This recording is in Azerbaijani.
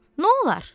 Nə olar?